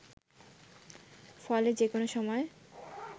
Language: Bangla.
ফলে যে কোন সময়